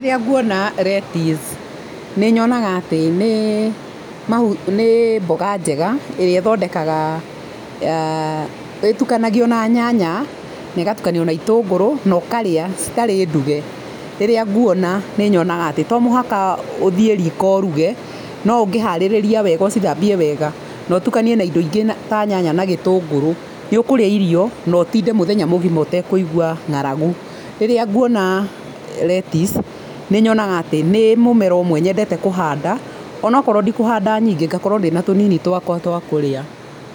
Rĩrĩa nguona lettuce nĩ nyonaga atĩ nĩ mboga njega ĩrĩa ĩthondekaga ah ĩtukanagio na nyanya na ĩgatukanio na itũngũrũ na ũkarĩa citarĩ nduge. Rĩrĩa nguona nĩ nyonaga atĩ to muhaka ũthie riko ũruge no ungĩharĩrĩria wega ucithambie wega na utukanie na indo ingĩ ta nyanya na gĩtũngũrũ nĩ ũkũrĩa irio na ũtinde mũthenya mũgima ũte kũigua ng'aragu. Rĩrĩa nguona lettuce nĩ nyonaga atĩ nĩ mũmera ũmwe nyendete kũhanda onokorwo ndi kuhanda nyingĩ ngakorwo ndĩ na tũnini twakwa twa kũrĩa.